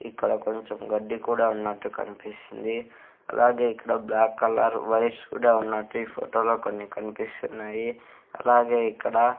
ఇక్కడ కొంచెం గడ్డి కూడా ఉన్నట్టు కన్పిస్తుంది అలాగే ఇక్కడ బ్లాక్ కలర్ వైర్స్ కూడా ఉన్నట్టు ఈ ఫొటో లో కొన్ని కన్పిస్తున్నాయి అలాగే ఇక్కడ--